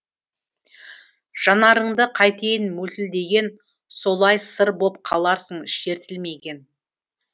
жанарыңды қайтейін мөлтілдеген солай сыр боп қаларсың шертілмеген